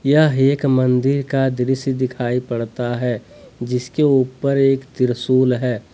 यह एक मंदिर का दृश्य दिखाई पड़ता है जिसके ऊपर एक त्रिशूल है।